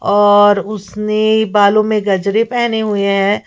और उसने बालों में गजरे पहने हुए हैं।